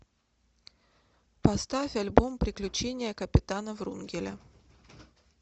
поставь альбом приключения капитана врунгеля